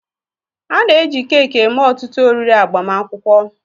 A na-eji keeki eme ọtụtụ oriri agbamakwụkwọ.